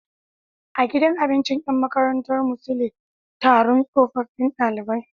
A gidan abinci Yan makarantar mu sule Taron tsofaffun ɗalibai